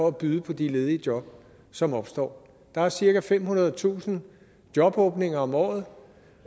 at byde på de ledige job som opstår der er cirka femhundredetusind jobåbninger om året